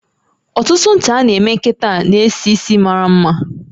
Ọtụtụ ncha a na eme kita n'esisi maramma